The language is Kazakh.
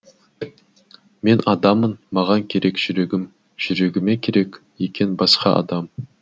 мен адаммын маған керек жүрегім жүрегіме керек екен басқа адам